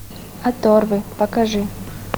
оторвы покажи